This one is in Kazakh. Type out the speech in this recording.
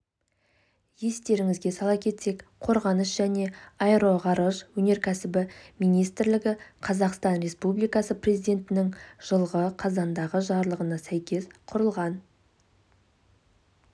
естеріңізге сала кетсек қорғаныс және аэроғарыш өнеркәсібі министрлігі қазақстан республикасы президентінің жылғы қазандағы жарлығына сәйкес құрылған